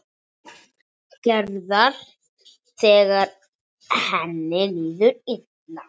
Gerðar þegar henni líður illa.